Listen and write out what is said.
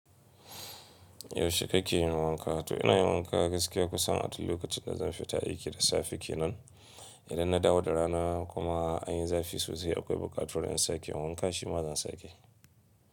Yaushe kake yin wanka? To ina yin wanka gaskiya kusan a duk lokacin da zan fi ta 'aiki da safe kenan. Idan na dawo da rana kuma an yi zafi sosai akwai buƙatar in sake wanka, shi ma zan sake.